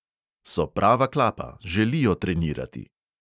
So prava klapa, želijo trenirati.